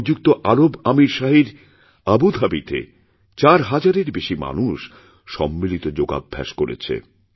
সংযুক্ত আরব আমীরশাহীর আবু ধাবিতে চার হাজারের বেশি মানুষ সম্মিলিতযোগাভ্যাস করেছে